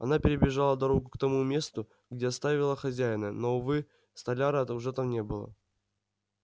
она перебежала дорогу к тому месту где оставила хозяина но увы столяра уже там не было